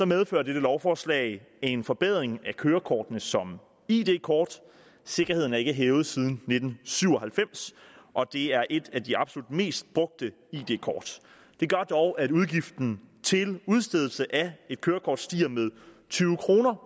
medfører dette lovforslag en forbedring af kørekortene som id kort sikkerheden er ikke hævet siden nitten syv og halvfems og det er et af de absolut mest brugte id kort det gør dog at udgiften til udstedelse af et kørekort stiger med tyve kroner